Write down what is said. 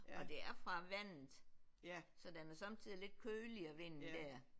Og det er fra vandet så den er sommetider lidt køligere vinden der